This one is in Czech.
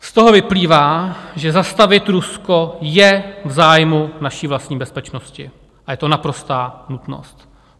Z toho vyplývá, že zastavit Rusko je v zájmu naší vlastní bezpečnosti a je to naprostá nutnost.